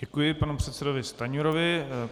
Děkuji panu předsedovi Stanjurovi.